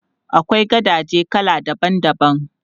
Akwai gadaje kala daban daban.